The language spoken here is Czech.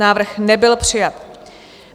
Návrh nebyl přijat.